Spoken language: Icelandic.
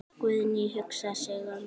Guðný hugsar sig um.